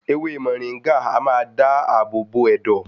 Ewé mọ̀ríngà a máa dá àbò bo ẹ̀dọ̀.